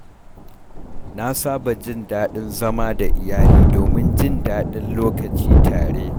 Na saba jin daɗin zama da iyali domin jin daɗin lokaci tare.